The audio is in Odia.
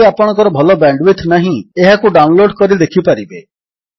ଯଦି ଆପଣଙ୍କର ଭଲ ବ୍ୟାଣ୍ଡୱିଡଥ୍ ନାହିଁ ଏହାକୁ ଡାଉନଲୋଡ୍ କରି ଦେଖିପାରିବେ